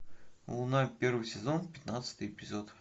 луна первый сезон пятнадцатый эпизод